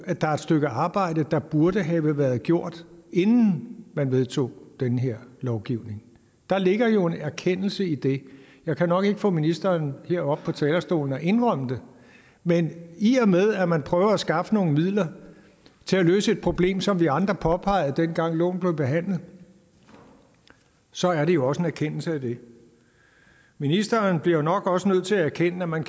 at der er et stykke arbejde der burde have været gjort inden man vedtog den her lovgivning der ligger jo en erkendelse i det jeg kan nok ikke få ministeren herop på talerstolen og indrømme det men i og med at man prøver at skaffe nogle midler til at løse et problem som vi andre påpegede dengang loven blev behandlet så er det jo også en erkendelse af det ministeren bliver nok også nødt til at erkende at man